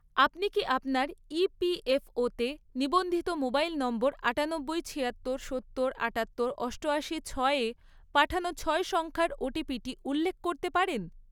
আপনি কি আপনার ইপিএফওতে ​​নিবন্ধিত মোবাইল নম্বর আটানব্বই, ছিয়াত্তর, সত্তর, আটাত্তর, অষ্টয়াশি, ছয়য়ে পাঠানো ছয় সংখ্যার ওটিপিটি উল্লেখ করতে পারেন?